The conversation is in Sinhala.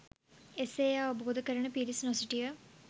එසේ එය අවබෝධ කරන පිරිස් නො සිටිය